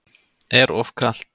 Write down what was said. Er of kalt.